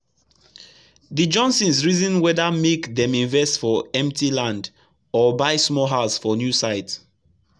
the johnsons reason whether make dem invest for empty land or buy small house for newsite